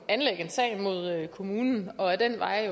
at anlægge en sag mod kommunen og ad den vej